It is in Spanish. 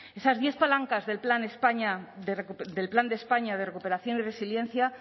esas diez palancas del plan de españa de recuperación y resiliencia